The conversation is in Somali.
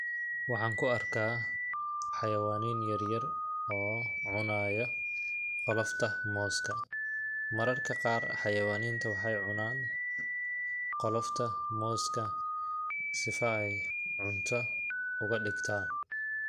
Waxaan ku arkaa xayawaniin yaryar oo cunaaya qolofta mooska ,mararka qaar xayawaniinta waxeey cunaan qolofta mooska sifa ay cunta uga dhigtaan.